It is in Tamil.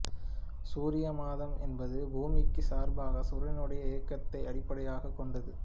சூரியமாதம் என்பது பூமிக்குச் சார்பாகச் சூரியனுடைய இயக்கத்தை அடிப்படையாகக் கொண்டது